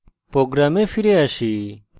program ফিরে আসি